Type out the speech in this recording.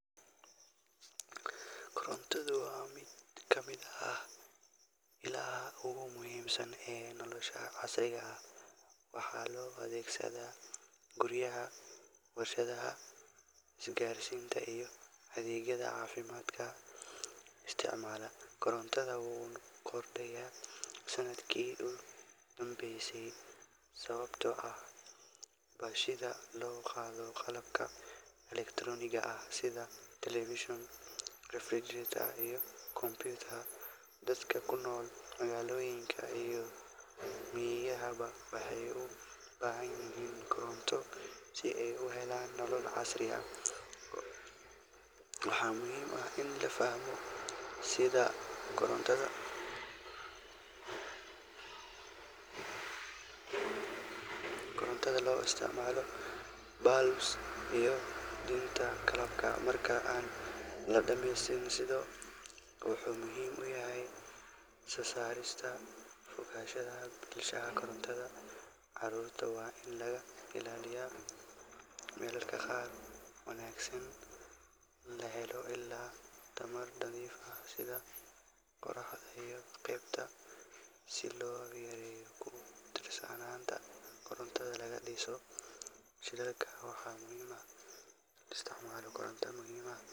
Korontada waa mid kamid ah illaha ogu muhiimsan casriga ah, waxaa loo adeegsada guriyaha, warshadaha, isgarsinta iyo adeegyada caafimaadka isticmaala, korontada wuu kordaya sanidkii udambeyse sababto ah bal sida loo qaado qalabka elektaroniga ah sida television refrigerator iyo computer dadka kunol Magaalooyinka iyo miyigadaba waxay ubahan yihin koronta si ay u helan nolol casri ah waxa muhiim ah in lafahmo sida korontada, korontada loo isticmaalo bulbs iyo dunta qalabka marka an la dhameystirin sido wuxuu muhiim uyahay soo saarista oganshaha bulshada korontada, caarurta waa in laga illaliyo, mararka qaar wanaagsan la helo ila tamar daciif ah sida qorax si jifta si loo yareyo kutirsananta korontada difacnanta shilalka waxa muhiim ah in la isticmaalo koronta mihiim ah